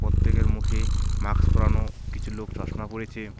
প্রত্যেকের মুখে মাক্স পরানো কিছু লোক চশমা পরেছে.